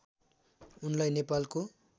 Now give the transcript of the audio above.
उनलाई नेपालको